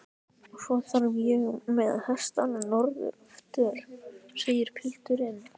Og svo þarf ég með hestana norður aftur, segir pilturinn.